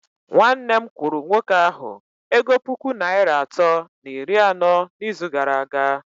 Nwanne m kwụrụ nwoke ahụ ego puku naịra atọ na iri anọ n'izu gara aga